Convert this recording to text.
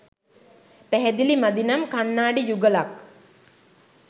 පැහැදිලි මදි නම් කන්නාඩි යුගලක්